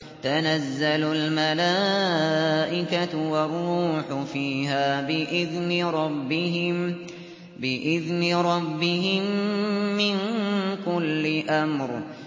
تَنَزَّلُ الْمَلَائِكَةُ وَالرُّوحُ فِيهَا بِإِذْنِ رَبِّهِم مِّن كُلِّ أَمْرٍ